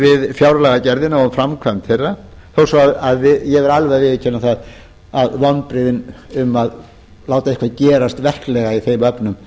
við fjárlagagerðina og framkvæmd þeirra þó svo ég verði alveg að viðurkenna það að vonbrigðin við að láta eitthvað gerast verklega í þeim efnum